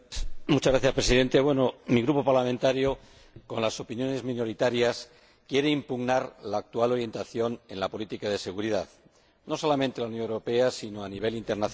Señor Presidente, mi Grupo parlamentario, con las opiniones minoritarias, quiere impugnar la actual orientación de la política de seguridad, no solamente de la Unión Europea sino también a nivel internacional.